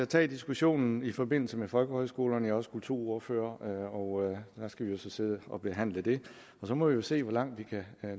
tage diskussionen i forbindelse med folkehøjskolerne er også kulturordfører og der skal vi jo så sidde og behandle det og så må vi jo se hvor langt vi kan